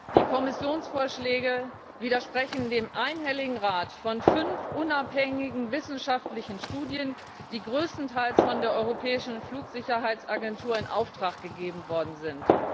Die Kommissionsvorschläge widersprechen dem einhelligen Rat von fünf unabhängigen wissenschaftlichen Studien, die größtenteils von der europäischen Flugsicherheitsagentur in Auftrag gegeben worden sind.